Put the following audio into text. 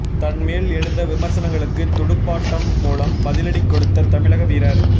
தன் மேல் எழுந்த விமர்சனங்களுக்கு துடுப்பாட்டம் மூலம் பதிலடி கொடுத்த தமிழக வீரர்